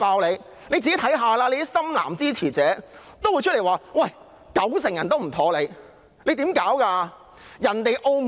她自己看看，那些"深藍"支持者也出來表示九成人不滿她，她是如何工作的？